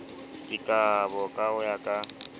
dikabo ka ho ya ka